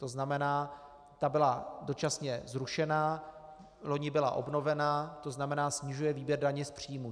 To znamená, ta byla dočasně zrušena, loni byla obnovena, to znamená snižuje výběr daně z příjmů.